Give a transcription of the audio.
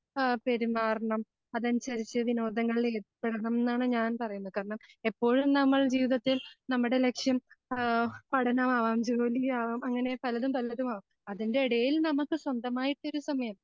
ആ പെരുമാറണം അതനുസരിച്ച് വിനോദങ്ങളിൽ ഏർപ്പെടാണംന്നാണ് ഞാൻ പറയുന്നത് കാരണം എപ്പോഴും നമ്മൾ ജീവിതത്തിൽ നമ്മുടെ ലക്ഷ്യം ആ പഠനമാകാം ജോലിയാകാം അങ്ങനെ പലതും പലതുമാകാം. അതിൻ്റിടയിൽ നമുക്ക് സ്വന്തമായിട്ടൊരു സമയം